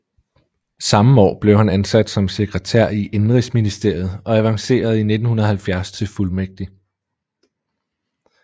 Samme år blev han ansat som sekretær i Indenrigsministeriet og avancerede i 1970 til fuldmægtig